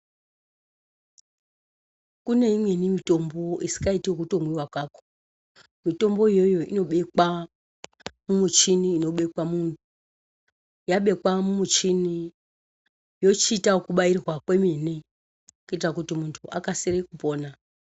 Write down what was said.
Kune imweni mitombo isingaiti kutomwiwa. Mutombo iyoyo inobekwa mumuchini unobekwa antu. Yabekwa mumuchini yochiita yekubairwa kwemene kuita kuti muntu akase kupona.